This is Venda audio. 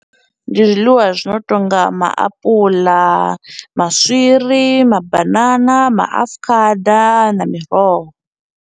Ndi zwiḽiwa zwi no tonga maapuḽa, maswiri, mabanana, maafukhada na miroho.